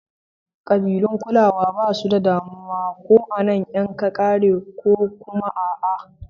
Kabilun Kulawa basu damuwa ko an yanka kare ko kuma a'a.